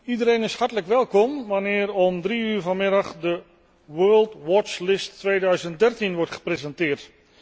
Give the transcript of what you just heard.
Iedereen is hartelijk welkom wanneer om drie uur vanmiddag de World Watch List 2013 wordt gepresenteerd.